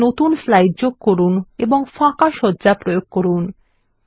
একটি নতুন স্লাইড যোগ করুন এবং ফাঁকা সজ্জা প্রয়োগ করুন